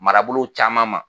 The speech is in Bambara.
Marabolow caman ma